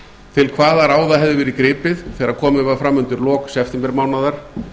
til hvaða ráða hefði verið gripið þegar komið var fram undir lok septembermánaðar